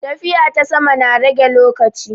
Tafiya ta sama na rage lokaci.